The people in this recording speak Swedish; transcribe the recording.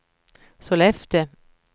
Sollefteå